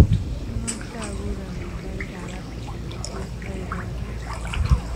Amache aguur amitwogikab afrika netos aibote